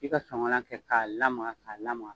I ka soŋala kɛ k'a lamaga k'a lamaga